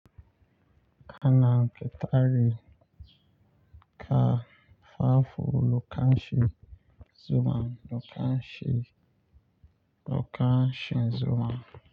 Ana ƙitare ka fafo lokacin zuma lokacin, lokacin zuma.